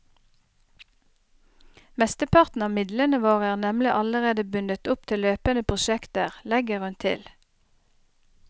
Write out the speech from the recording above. Mesteparten av midlene våre er nemlig allerede bundet opp til løpende prosjekter, legger hun til.